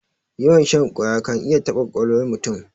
Yawan shan ƙwaya kan iya taɓa ƙwaƙwalwar mutum.